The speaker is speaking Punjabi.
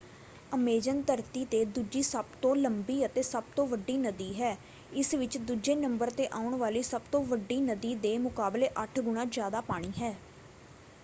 ਅਮੇਜ਼ਨ ਧਰਤੀ ‘ਤੇ ਦੂਜੀ ਸਭ ਤੋਂ ਲੰਬੀ ਅਤੇ ਸਭ ਤੋਂ ਵੱਡੀ ਨਦੀ ਹੈ। ਇਸ ਵਿੱਚ ਦੂਜੇ ਨੰਬਰ ‘ਤੇ ਆਉਣ ਵਾਲੀ ਸਭ ਤੋਂ ਵੱਡੀ ਨਦੀ ਦੇ ਮੁਕਾਬਲੇ 8 ਗੁਣਾਂ ਜਿਆਦਾ ਪਾਣੀ ਹੈ।